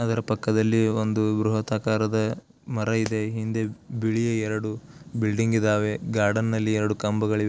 ಅದರ ಪಕ್ಕದಲ್ಲಿ ಒಂದು ಬೃಹತ್ ಆಕಾರದ ಮರ ಇದೆ ಹಿಂದೆ ಬಿಳಿಯ ಎರಡು ಬಿಲ್ಡಿಂಗ್ ಇದ್ದಾವೆ ಗಾರ್ಡನ್ನಲ್ಲಿ ಎರಡು ಕಂಬಗಳು ಇವೆ.